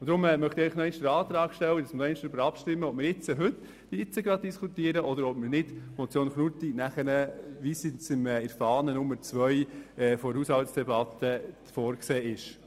Deshalb möchte ich nochmals den Antrag stellen und darüber abstimmen, ob wir heute über die Motion Knutti diskutieren oder später im Rahmen der Haushaltsdebatte, wie es in der Fahne Nummer 2 zur Haushaltsdebatte vorgesehen ist.